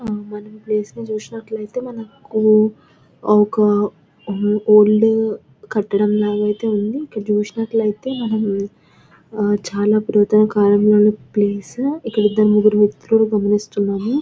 మనం ప్లేసులు చూసినట్లు అయితే మనకు ఒక ఓల్డ్ కట్టడం లాగా అయితే ఉంది. ఇక్కడ చూసినట్లు అయితే మనము చాల పురాతన కాలంలోని ప్లేస్ ఇక్కడ ఇద్దరు ముగ్గురు వ్యక్తులను గమనిస్తున్నం.